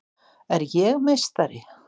Er ég meistari?